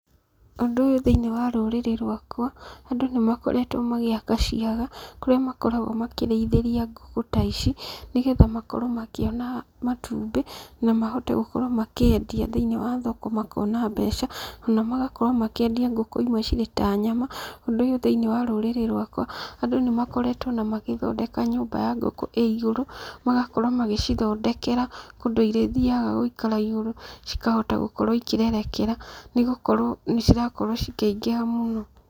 Ũndũ ũyũ thĩinĩ wa rũrĩrĩ rwakwa, andũ nĩ makoretwo magĩaka ciaga kũrĩa makoragwo makĩrĩithĩria ngũkũ ta ici, nĩgetha makorwo makĩona matumbĩ, na mahote gũkorwo makĩendia thĩinĩ wa thoko makona mbeca, ona magakorwo makĩendia ngũkũ imwe cirĩ ta nyama, ũndũ ũyũ thĩinĩ wa rũrĩrĩ rwakwa, andũ nĩ makoretwo ona magĩthondeka nyũmba ya ngũkũ ĩ igũrũ, magakorwo magĩcithondekera kũndũ irĩthiaga gũikara igũrũ, cikahota gũkorwo ikĩrerekera, nĩ gũkorwo nĩ cirakorwo cikĩingĩha mũno.